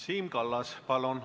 Siim Kallas, palun!